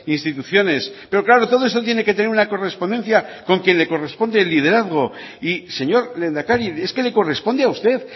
instituciones pero claro todo esto tiene que tener una correspondencia con quien le corresponde el liderazgo y señor lehendakari es que le corresponde a usted